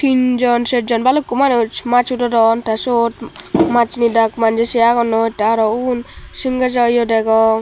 tinjon sejjon balukko manuj mas hudodon te syot mas nidak manjey se agonnoi tey araw ugun singejo ye degong.